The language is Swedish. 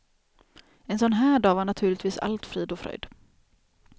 En sån här dag var naturligtvis allt frid och fröjd.